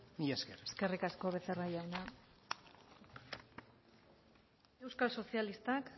mila esker eskerrik asko becerra jauna euskal sozialistak